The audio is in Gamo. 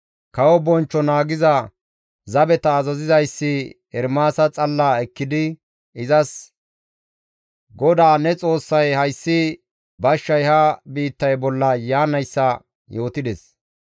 Kawo bonchcho naagiza zabeta azazizayssi Ermaasa xalla ekkidi izas, «GODAA ne Xoossay hayssi bashshay ha biittay bolla yaanayssa yootides.